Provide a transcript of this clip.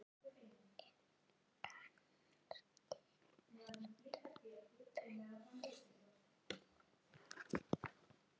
En kannski ertu fundin núna.